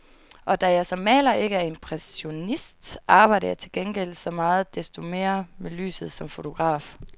Og da jeg som maler ikke er impressionist, arbejder jeg til gengæld så meget desto mere med lyset som fotograf.